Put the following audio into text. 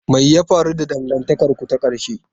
Me ya faru da dangantakarku ta ƙarshe?